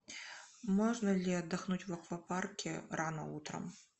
можно ли отдохнуть в аквапарке рано утром